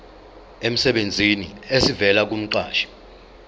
emsebenzini esivela kumqashi